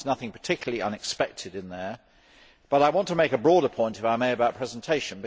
There is nothing particularly unexpected in them, but I want to make a broader point, if I may, about presentation.